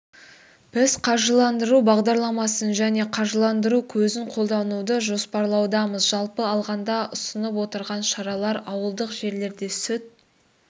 біз қаржыландыру бағдарламасын және қаржыландыру көзін қолдануды жоспарлаудамыз жалпы алғанда ұсынып отырған шаралар ауылдық жерлерде сүт